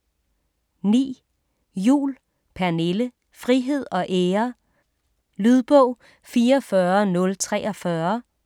9. Juhl, Pernille: Frihed og ære Lydbog 44043